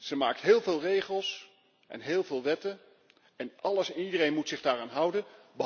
Ze maakt heel veel regels en heel veel wetten, en alles en iedereen moet zich daaraan houden.